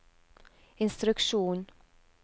instruksjon